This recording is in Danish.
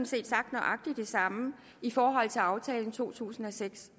set sagt nøjagtig det samme i forhold til aftalen fra to tusind og seks